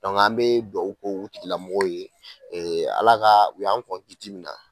Dɔnku an be duaw k'o tigilamɔgɔw ye ala ka u y'an kiti min na